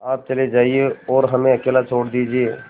आप चले जाइए और हमें अकेला छोड़ दीजिए